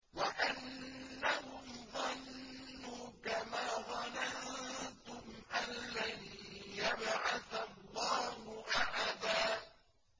وَأَنَّهُمْ ظَنُّوا كَمَا ظَنَنتُمْ أَن لَّن يَبْعَثَ اللَّهُ أَحَدًا